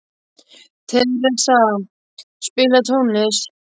Theresa, spilaðu tónlist.